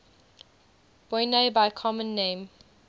boinae by common name